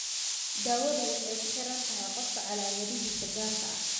Daawadu waxay ku xidhan tahay qofka calaamadihiisa gaarka ah.